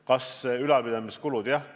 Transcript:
Kui suured on ülalpidamiskulud?